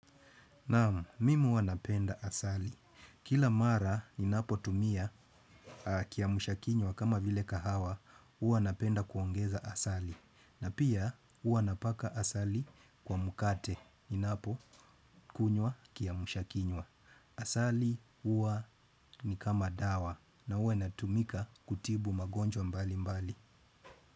Naam, mimi huwa napenda asali. Kila mara ninapotumia kiamsha kinywa kama vile kahawa, huwa napenda kuongeza asali. Na pia, huwa napaka asali kwa mkate. Ninapokunywa kiamsha kinywa. Asali huwa ni kama dawa. Na huwa inatumika kutibu magonjwa mbalimbali.